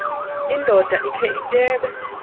indoda ikhe ityebe